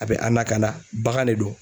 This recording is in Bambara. A bɛ an lakana bagan de do.